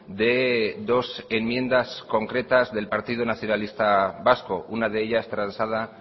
de dos enmiendas del partido nacionalista vasco una de ellas transada